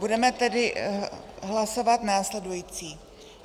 Budeme tedy hlasovat následující.